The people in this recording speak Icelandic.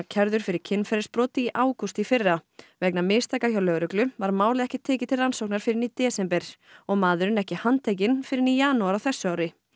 kærður fyrir kynferðisbrot í ágúst í fyrra vegna mistaka hjá lögreglu var málið ekki tekið til rannsóknar fyrr en í desember og maðurinn ekki handtekinn fyrr en í janúar á þessu ári